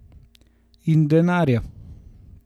In denarja.